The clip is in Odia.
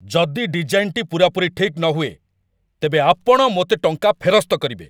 ଯଦି ଡିଜାଇନ୍‌ଟି ପୂରାପୂରି ଠିକ୍ ନ ହୁଏ, ତେବେ ଆପଣ ମୋତେ ଟଙ୍କା ଫେରସ୍ତ କରିବେ।